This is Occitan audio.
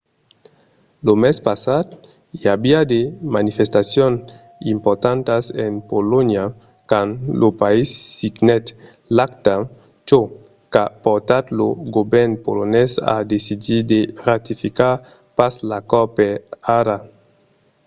lo mes passat i aviá de manifestacions importantas en polonha quand lo país signèt l'acta çò qu'a portat lo govèrn polonés a decidir de ratificar pas l'acòrd per ara